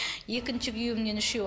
екінші күйеуімнен үшеу